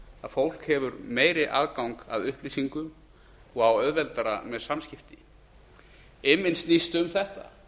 að fólk hefur meiri aðgang að upplýsingum og á auðveldara með samskipti imminn snýst um þetta